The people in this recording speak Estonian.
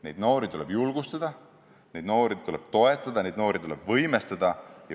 Meie noori tuleb julgustada, meie noori tuleb toetada, meie noori tuleb võimestada.